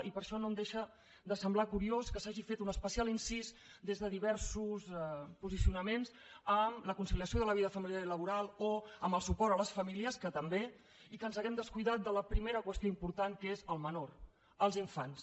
i per això no em deixa de semblar curiós que s’hagi fet un especial incís des de diversos posicionaments a la conciliació de la vida familiar i laboral o al suport a les famílies que també i que ens haguem descuidat de la primera qüestió important que és el menor els infants